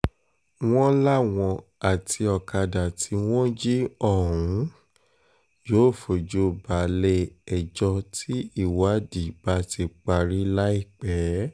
wọ́n láwọn àti ọ̀kadà tí wọ́n jí ọ̀hún um yóò fojú balẹ̀-ẹjọ́ tí ìwádìí bá ti parí láìpẹ́ um